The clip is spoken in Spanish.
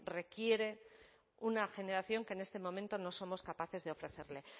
requiere una generación que en este momento no somos capaces de ofrecerle